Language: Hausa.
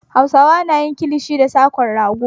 Hausawa na yin kilishi da sa ko rago.